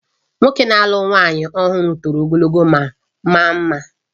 Nwoke na-alụ nwanyị ọhụrụ toro ogologo ma maa mma